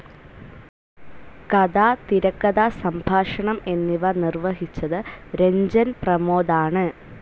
കഥ, തിരക്കഥ, സംഭാഷണം, എന്നിവ നിർവഹിച്ചത് രഞ്ജൻ പ്രമോദ് ആണ്.